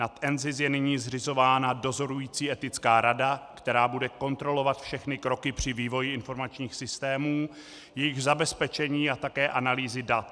Nad NZIS je nyní zřizována dozorující etická rada, která bude kontrolovat všechny kroky při vývoji informačních systémů, jejich zabezpečení a také analýzy dat.